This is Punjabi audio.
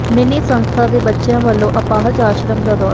ਮਿੰਨੀ ਸੰਸਥਾ ਦੇ ਬੱਚਿਆਂ ਵਲੋਂ ਅਪਾਹਜ ਆਸ਼ਰਮ ਦਾ ਦੌਰਾ